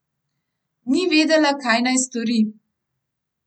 Ni vedela, kaj naj stori.